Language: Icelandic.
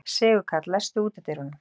Sigurkarl, læstu útidyrunum.